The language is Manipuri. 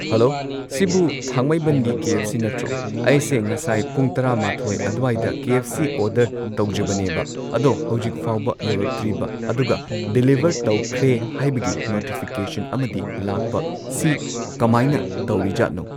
ꯍꯜꯂꯣ ꯁꯤꯕꯨ ꯊꯥꯡꯃꯩꯕꯟꯒꯤ ꯀꯦ ꯑꯦꯐ ꯁꯤ ꯅꯇ꯭ꯔꯣ ꯑꯩꯁꯦ ꯉꯁꯥꯏ ꯄꯨꯡ ꯇ꯭ꯔꯥꯃꯥꯊꯣꯏ ꯑꯗ꯭ꯋꯥꯏꯗ ꯀꯦ ꯑꯦꯐ ꯁꯤ ꯑꯣꯗꯔ ꯇꯧꯖꯕꯅꯦꯕ ꯑꯗꯣ ꯍꯧꯖꯤꯛꯐꯥꯎꯕ ꯌꯧꯔꯛꯇ꯭ꯔꯤꯕ ꯑꯗꯨꯒ ꯗꯤꯂꯤꯚꯔ ꯇꯧꯈ꯭ꯔꯦ ꯍꯥꯏꯕꯒꯤ ꯅꯣꯇꯤꯐꯤꯀꯦꯁꯟ ꯑꯃꯗꯤ ꯂꯥꯛꯄ ꯁꯤ ꯀꯃꯥꯏꯅ ꯇꯧꯔꯤꯖꯥꯠꯅꯣ